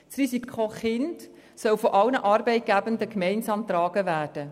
Das Risiko Kind soll von allen Arbeitgebenden gemeinsam getragen werden.